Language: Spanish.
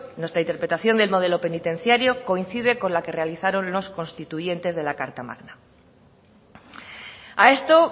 nuestra interpretación del modelo penitenciario coincide con la que realizaron los constituyentes de la carta magna a esto